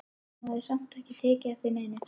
Hún hafði samt ekki tekið eftir neinu.